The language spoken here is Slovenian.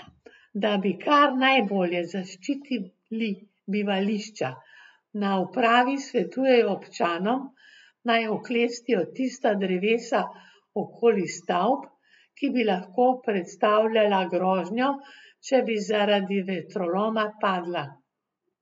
Da bi kar najbolje zaščitili bivališča, na upravi svetujejo občanom, naj oklestijo tista drevesa okoli stavb, ki bi lahko predstavljala grožnjo, če bi zaradi vetroloma padla.